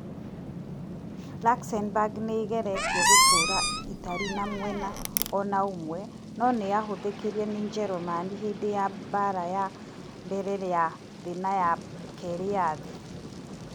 Luxembourg nĩ ĩgeretie gũtũũra ĩtarĩ na mwena o na ũmwe, no nĩ yahũthĩkire nĩ Njerumani hĩndĩ ya Mbaara ya Mbere ya Thĩ na ya Kerĩ ya Thĩ.